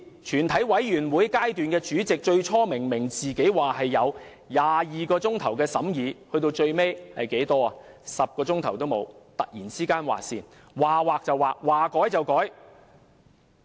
全體委員會的主席最初明明說有22小時的審議時間，最後卻連10小時也沒有，突然劃線，說劃就劃，說改就改。